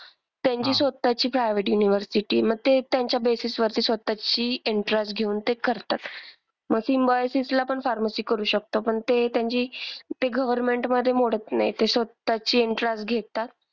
त्यांची स्वतःची private university, मग ते त्यांच्या basis वरती स्वतःची entrance घेऊन ते करतात. मग सिम्बायोसिसला पण pharmacy करू शकतो. पण ते त्यांची ते government मधे मोडत नाही. ते स्वतःची entrance घेतात.